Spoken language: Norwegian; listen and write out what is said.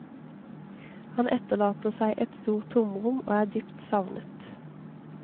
Han etterlater seg et stort tomrom og er dypt savnet.